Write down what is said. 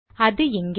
அது இங்கே